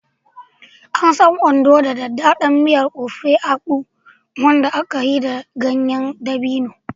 An san Ondo da daɗaɗɗen miyar Ofe Akwu, wanda aka yi da ɗanyen dabino.